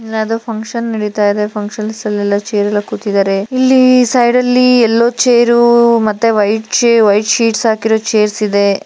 ಇಲ್ಲಿ ಯಾವುದೋ ಫಂಕ್ಷನ್ ನೆಡಿತಾ ಇದೆ ಫಂಕ್ಷನ್ಸ್ ಲೆಲ್ಲ ಚೇರ್ ಎಲ್ಲಾ ಕೂತಿದ್ದಾರೆ ಇಲ್ಲಿ ಸೈಡಲ್ಲಿ ಎಲ್ಲೋ ಚೇರು ಮತ್ತು ವೈಟ್ ಶೀಟ್ಸ್ ಹಾಕಿರೋ ಚೇರ್ಸ್ ಇದೆ .